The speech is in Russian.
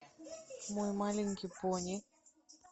мой маленький пони